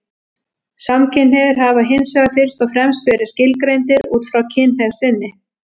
Samkynhneigðir hafa hins vegar fyrst og fremst verið skilgreindir út frá kynhneigð sinni.